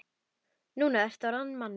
Nú ertu orðinn að manni.